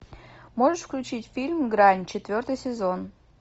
можешь включить фильм грань четвертый сезон